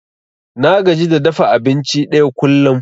Na gaji da dafa abinci ɗaya kullum.